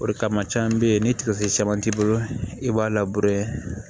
O de kama caman be yen ni tigafini caman b'i bolo i b'a